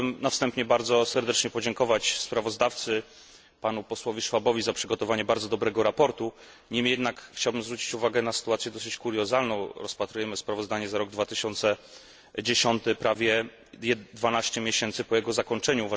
Chciałbym na wstępie bardzo serdecznie podziękować sprawozdawcy, panu posłowi Schwabowi, za przygotowanie bardzo dobrego sprawozdania. Niemniej jednak chciałbym zwrócić uwagę na sytuację dosyć kuriozalną rozpatrujemy sprawozdanie za rok 2010 prawie 12 miesięcy po jego zakończeniu.